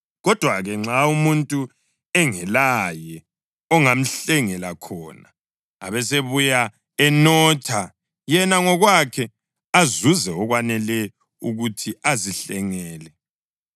Kodwa-ke nxa umuntu engelaye ongamhlengela khona, abesebuya enotha yena ngokwakhe azuze okwanele ukuthi azihlengele,